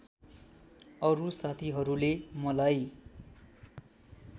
अरू साथीहरूले मलाई